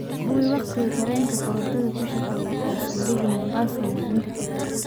hubi wakhtiga tareenka korontada ku shaqeeya ee saldhiga mombasa maalinta talaadada